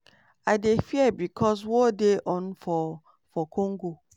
"i dey fear becos war dey on for for congo.